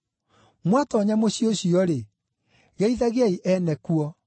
Mwatoonya mũciĩ ũcio-rĩ, geithagiai ene kuo.